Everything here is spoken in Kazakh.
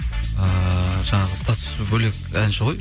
ыыы жаңағы статусы бөлек әнші ғой